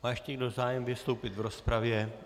Má ještě někdo zájem vystoupit v rozpravě?